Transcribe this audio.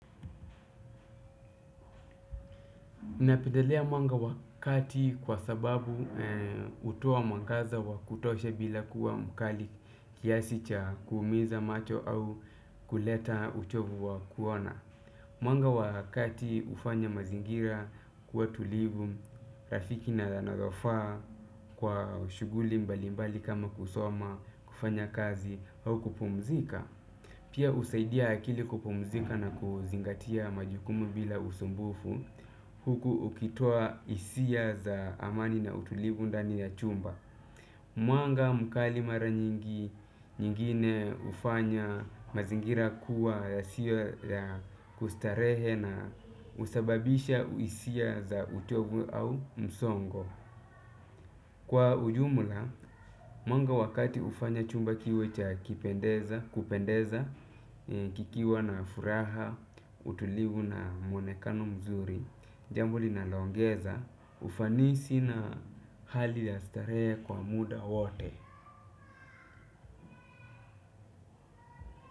Mimi napendelea mwanga wa kati kwa sababu hutoa mwangaza wa kutosha bila kuwa mkali kiasi cha kuumiza macho au kuleta uchovu wa kuona. Mwanga wa kati hufanya mazingira kuwa tulivu, rafiki na yanayofaa kwa ushughuli mbali mbali kama kusoma kufanya kazi au kupumzika. Pia husaidia akili kupumzika na kuzingatia majukumu bila usumbufu huku ukitua hisia za amani na utulivu ndani ya chumba. Mwanga mkali mara nyingi nyingine hufanya mazingira kuwa yasiyo ya kustarehe na husababisha hisia za utovu au msongo. Kwa ujumla, mwanga wa kati hufanya chumba kiwe cha kupendeza kikiwa na furaha utulivu na mwonekano mzuri jambo linalo ongeza ufanisi na hali ya starehe kwa muda wote.